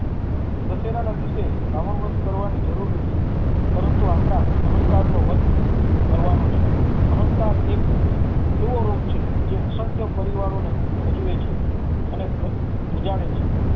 દશેરા ના દિવસે રાવણ વધ કરવાની જરૂર નથી પરંતુ આપણા અહંકાર નો વધ કરવાનો છે અહંકાર એક રોગ છે જે અસંખ્ય પરિવારો ને પજવે છે અને પ્રજાળે છે